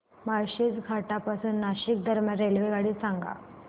माळशेज घाटा पासून नाशिक दरम्यान रेल्वेगाडी सांगा